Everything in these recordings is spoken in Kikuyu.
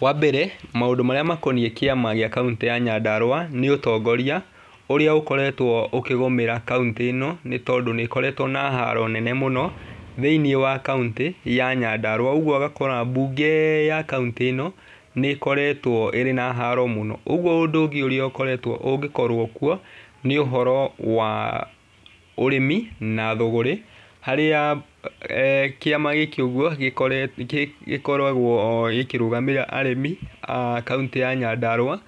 Wa mbere maũndũ marĩa makoniĩ kĩama gĩ kaũntĩ ya Nyandarũa nĩ ũtongoria ũrĩa ũkoretwo ũkĩgũmĩra kaũntĩ ĩno nĩ tondũ nĩ ĩkoreetwo na haro nene mũno thĩinĩ wa kaũntĩ ya Nyandarũa. Ũguo ũgakora mbunge ya kaũntĩ ĩno nĩ ĩkoretwo ĩrĩ na haro mũno, ũguo ũndũ ũngĩ ũrĩa ũngĩkorwo kuo nĩ ũhoro wa ũeĩmi na thũgũrĩ. Harĩa kĩama gĩkĩ ũguo gĩkoragwo gĩkĩrũgamĩrĩra arĩmi a kaũntĩ ya Nyandarũa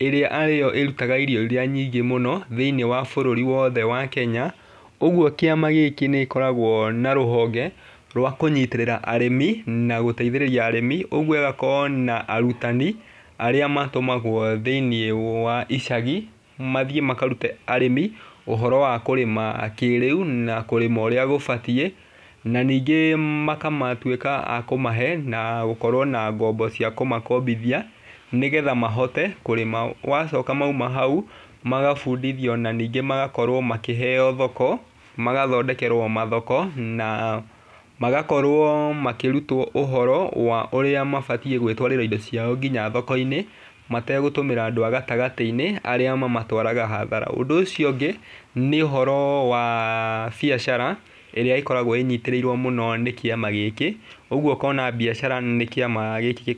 ĩrĩa arĩo ĩrutaga irio iria nyingĩ mũno thĩinĩ wa bũrũri wothe wa Kenya. Ũguo kĩama gĩkĩ nĩ gĩkoragwo na rũhonge rwa kũnyitĩrĩra arĩmi na gũteithĩrĩria arĩmi, ũguo igakorwo na arutani arĩa matũmagwo thĩinĩ wa icagi mathiĩ makarute arĩmi ũhoro wa kũrĩma kĩrĩu na kũrĩma ũrĩa gũbatiĩ. Na ningĩ makamatuĩka akũmahe na gũkorwo na mbombo cia kumakombithia nĩ getha mahote kũrĩma. Gwacoka mauma hau magabundithio na ningĩ magakorwo makĩheo thoko magathondekerwo mathoko na magakorwo makĩheo ũhoro wa ũria mabatiĩ gwĩtwarĩra indo ciao nginya thoko-inĩ mategũtũmĩra andũ a gatagatĩ-inĩ arĩa mamatwaraga hathara. Ũndũ ũcio ũngĩ nĩ ũhoro wa biacara ĩrĩa ĩkoragwo ĩnyitĩrĩirwo mũno nĩ kĩama gĩkĩ, ũguo ũkona mbiacara nĩ kĩama gĩkĩ.